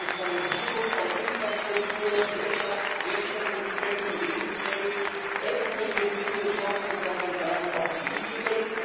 Die Digitalisierung von Infrastruktur, Wirtschaftswertschöpfungsketten, Lebenswelt eröffnet eben nicht nur Chancen, sondern bergen auch Risiken.